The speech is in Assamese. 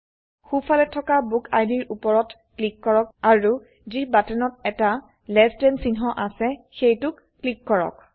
সো ফালে থকাBookId ৰ উপৰত ক্লিক কৰক আৰু যি বাটনত এটা লেছ থান চিহ্ন আছে সেইটোক ক্লিক কৰক